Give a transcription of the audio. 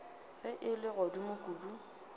ge e le godimo kudu